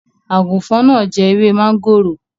Àgùfọn náà jẹ ewé máńgòrò.